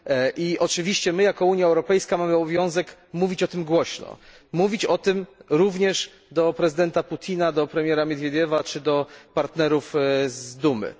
I oczywiście my, jako Unia Europejska, mamy obowiązek mówić o tym głośno, mówić o tym również do prezydenta Putina, do premiera Miedwiediewa czy do partnerów z Dumy.